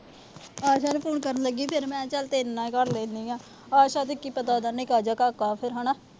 ਆਸ਼ਾ ਦੇ phone ਕਰਨ ਲੱਗੀ ਸੀ। ਫਿਰ ਮੈਂ ਕਿਹਾ ਤੈਨੂੰ ਹੀ ਕਰ ਲੈਂਦੀ ਆ। ਆਸ਼ਾ ਦਾ ਕੀ ਪਤਾ। ਉਹਦੇ ਨਿੱਕਾ ਜਿਹਾ ਕਾਕਾ ਹਨਾ।